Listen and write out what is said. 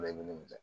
i ni